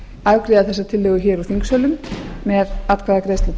afgreiða þessa tillögu úr þingsölum með atkvæðagreiðslum